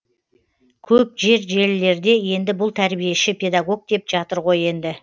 көп жер желілерде енді бұл тәрбиеші педагог деп жатыр ғой енді